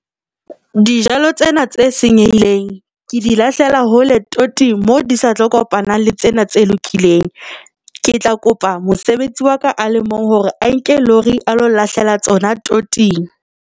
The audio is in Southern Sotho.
Dijalo tsena tse senyehileng ke di lahlela hole toting moo di sa tlo kopanang le tsena tse lokileng. Ke tla kopa mosebetsi wa ka a le mong hore a nke lori a lo nlahlela tsona toting.